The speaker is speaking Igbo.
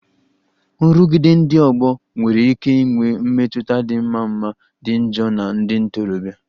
Nrụgide ndị ọgbọ nwere ike inwe mmetụta dị mma ma dị njọ na ndị ntorobịa